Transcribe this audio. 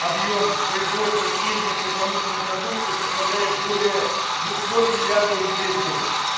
объем производства пензенской промышленной продукции составляет более двухсот миллиардов рулей в год